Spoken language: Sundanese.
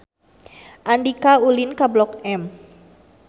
Andika ulin ka Blok M